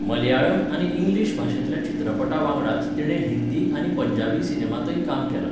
मलयाळम आनी इंग्लीश भाशेंतल्या चित्रपटां वांगडाच तिणे हिंदी आनी पंजाबी सिनेमांतय काम केलां.